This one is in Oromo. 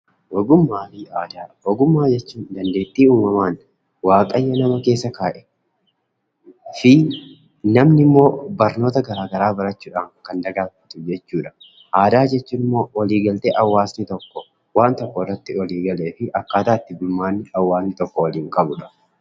Ogummaa fi aadaa. Ogummaa jechuun dandeettii uumamaan waaqayyo nama keessa kaa'e fi namni immoo barnoota garaagaraa barachuudhaan kan dagaagfatu jechuu dha. Aadaa jechuun immoo waliigaltee hawaasni tokko waan tokko irratti walii galee fi akkaataa itti bulmaanni hawaasni tokko waliin qabuu dha.